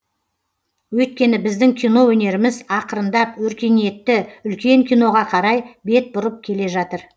өйткені біздің кино өнеріміз ақырындап өркениетті үлкен киноға қарай бет бұрып келе жатыр